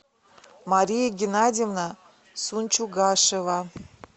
мария геннадьевна сунчугашева